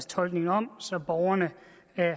tolkning om så borgerne